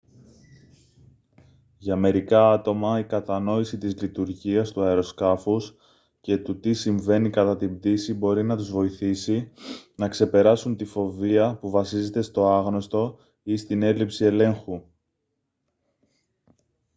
για μερικά άτομα η κατανόηση της λειτουργίας του αεροσκάφους και του τι συμβαίνει κατά την πτήση μπορεί να τους βοηθήσει να ξεπεράσουν τη φοβία που βασίζεται στο άγνωστo ή στην έλλειψη ελέγχου